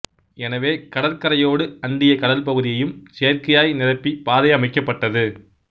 எனவே கடற் கரையோடு அண்டிய கடல் பகுதியையும் செயற்கையாய் நிரப்பி பாதை அமைக்கப்பட்டது